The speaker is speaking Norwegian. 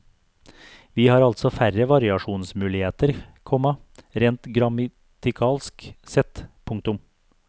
Vi har altså færre variasjonsmuligheter, komma rent grammatikalsk sett. punktum